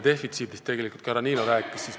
Tegelikult rääkis ka härra Niilo maa defitsiidist.